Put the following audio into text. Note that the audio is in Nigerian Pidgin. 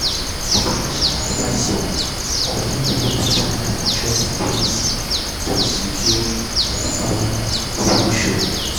di financial advisor recommend one better life insurance policy um to secure dia family future.